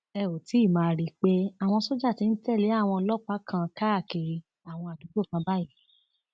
ẹ óò ti máa rí i pé àwọn sójà ti ń tẹlé àwọn ọlọpàá kan káàkiri àwọn àdúgbò kan báyìí